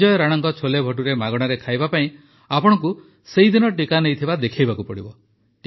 ସଂଜୟ ରାଣାଙ୍କ ଛୋଲେଭଟୁରେ ମାଗଣାରେ ଖାଇବା ପାଇଁ ଆପଣଙ୍କୁ ସେହିଦିନ ଟିକା ନେଇଥିବା ଦେଖାଇବାକୁ ପଡ଼ିବ